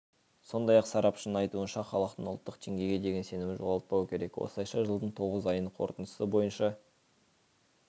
сондай-ақ сарапшының айтуынша халықтың ұлттық теңгеге деген сенімін жоғалтпау керек осылайша жылдың тоғыз айының қорытындысы бойынша